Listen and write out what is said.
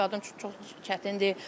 Hamilə qadın üçün çox çətindir.